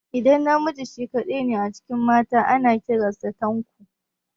Idan namiji shi kaɗai ne a cikin mata, ana kiran sa Tanko.